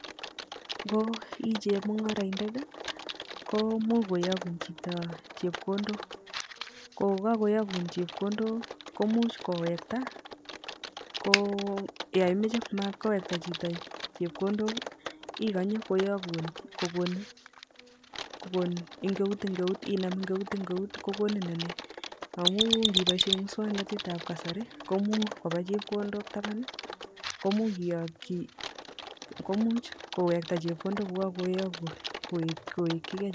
Ng'o ichemungoroindet komuch kiyokun chito chepkondok ko kokiyokun chepkondok komuch kowekta ko yoon imoche matkowekta chito chepkondok ikonye koyokun kobun engeut engeut kokonin engeut engeut kokonin ineii amun ndiboishen muswoknotetab kasari komuch koba chepkondok taban komuch koyokyi komuch kowekta chepkondok kokokoyokun kowekyike.